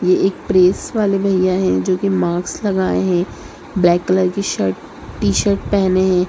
ये एक प्रेस वाले भैया है जो कि मास्क लगाए है ब्लैक कलर की शर्ट टी-शर्ट पहने हैं।